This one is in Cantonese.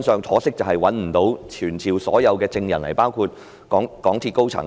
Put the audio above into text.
可惜的是當時我們不能傳召所有證人到來，包括港鐵公司高層。